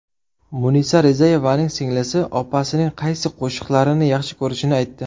Munisa Rizayevaning singlisi opasining qaysi qo‘shiqlarini yaxshi ko‘rishini aytdi.